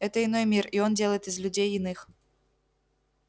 это иной мир и он делает из людей иных